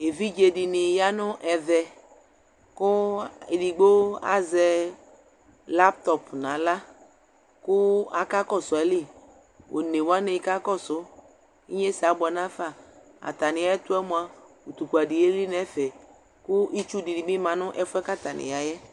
Evidze ya nʋ ɛvɛ, kʋ edigbo azɛ laŋtɔp n'aɣla , kʋ aka kɔsʋ ayili Onewanɩ kakɔsʋ , inyesɛ abʋɛ nafa Atanɩ ɛtʋɛ mʋa, utukpɛdɩ eli n'ɛfɛ ; kʋ itsudɩnɩ bɩ ma n'ɛfʋɛ atanɩ yaɛ